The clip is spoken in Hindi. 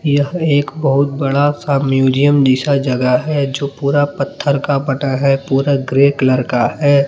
यह एक बहुत बड़ा सा म्यूज़ियम जैसा जगह है जो पूरा पत्थर का बटा है पूरा ग्रे कलर का है।